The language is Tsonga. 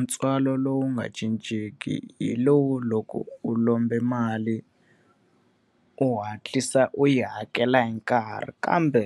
Ntswalo lowu nga cincenki hi lowu loko u lombe mali, u hatlisa u yi hakela hi nkarhi kambe